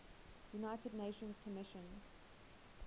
united nations commission